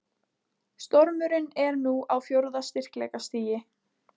Stormurinn er nú á fjórða styrkleikastigi